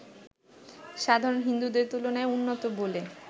সাধারণ হিন্দুদের তুলনায় উন্নত বলে